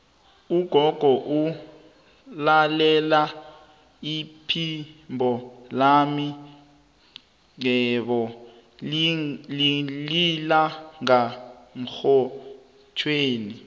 ugogo ulalela iphimbo lami qobe lilanga emrhatjhweni